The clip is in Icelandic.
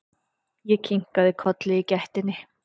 Ég kinkaði kolli í gættinni.